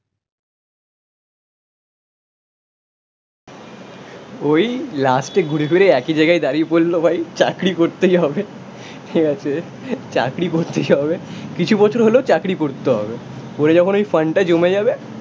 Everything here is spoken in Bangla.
ওই লাস্টে ঘুরে ঘুরে একই জায়গায় দাঁড়িয়ে পড়ল ভাই, চাকরি করতেই হবে, ঠিক আছে, চাকরি করতেই হবে. কিছু বছর হলেও চাকরি করতে হবে, পরে যখন ওই ফান্ড টা জমে যাবে